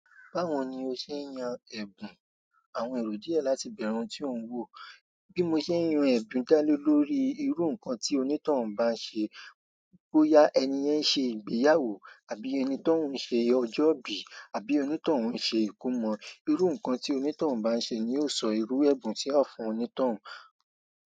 Báwo ni o ṣe ń yan ẹ̀bùn àwọn èrò díẹ̀ láti bẹ̀rù tí ó ń wò? Bí mo ṣe ń yan ẹ̀bùn dá lé lórí irú nǹkan tí onítoun bá ń ṣe, bóyá ẹni yẹn ṣe ìgbéyàwó àbí ẹni tí òun ṣe ọjọ́ ìbí àbí onítoun òun ṣe ìkómọ. Irú nǹkan tí onítoun bá ń ṣe ni yóò sọ irú ẹ̀bùn tí a fún onítoun.